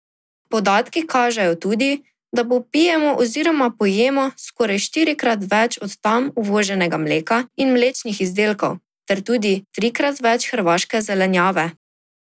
Podatki kažejo tudi, da popijemo oziroma pojemo skoraj štirikrat več od tam uvoženega mleka in mlečnih izdelkov ter tudi trikrat več hrvaške zelenjave.